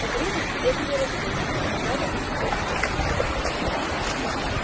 по крепости бегали разбойники грабя офицерские дома